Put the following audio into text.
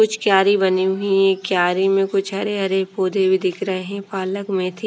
कुछ क्यारी बनी हुई हैं क्यारी में कुछ हरे हरे पौधे भी दिख रहे हैं पालक मेथी।